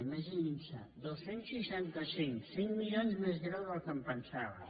imaginin s’ho dos cents i seixanta cinc cinc milions més greu del que em pensava